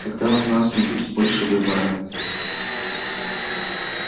тогда у нас не будет больше выбора